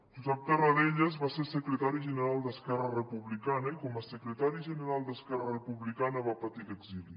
josep tarradellas va ser secretari general d’esquerra republicana i com a secretari general d’esquerra republicana va patir l’exili